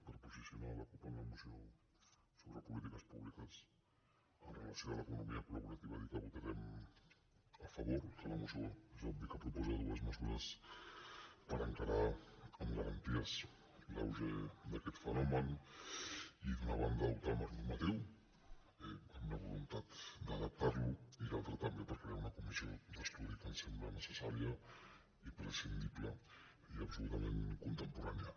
per posicionar la cup en la mo·ció sobre polítiques públiques amb relació amb l’eco·nomia colla moció és obvi que proposa dues mesures per enca·rar amb garanties l’auge d’aquest fenomen d’una ban·da dotar d’un marc normatiu amb la voluntat d’adap·tar·lo i de l’altra també per crear una comissió d’estudi que ens sembla necessària imprescindible i absolutament contemporània